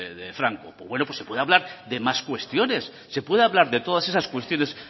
de franco pues bueno se puede hablar de más cuestiones se puede hablar de todas esas cuestiones